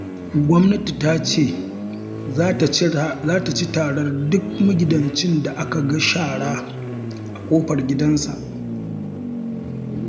Gwamnati ta ce za ta ci tarar duk magidancin da aka ga shara a ƙofar gidansa